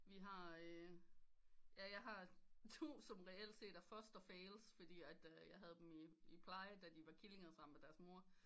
Vi har øh ja jeg har to som reelt set er foster fails fordi at jeg havde dem i pleje da de var killinger sammen med deres mor